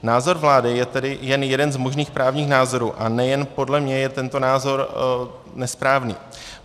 Názor vlády je tedy jen jeden z možných právních názorů a nejen podle mě je tento názor nesprávný.